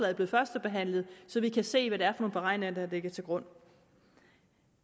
er blevet førstebehandlet så vi kan se hvad det er for nogle beregninger der ligger til grund